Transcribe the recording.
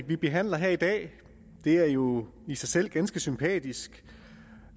vi behandler her i dag er jo i sig selv ganske sympatisk